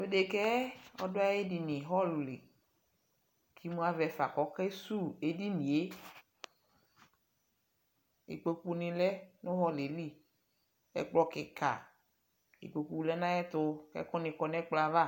Tʋ dekǝ yɛ, ɔdʋ ayʋ edini ɣɔl li kʋ imu avɛ fa kʋ ɔkesuwu edini yɛ Ikpokunɩ lɛ nʋ ɣɔl yɛ li Ɛkplɔ kɩka, ikpoku lɛ nʋ ayɛtʋ kʋ ɛkʋnɩ kɔ nʋ ɛkplɔ yɛ ava